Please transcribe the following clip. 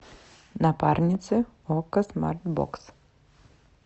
напарницы окко смарт бокс